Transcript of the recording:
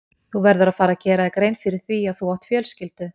Þú verður að fara að gera þér grein fyrir því að þú átt fjölskyldu.